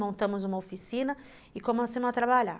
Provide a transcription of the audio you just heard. Montamos uma oficina e começamos a trabalhar.